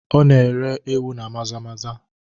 Ọ na-ere ewu na maza maza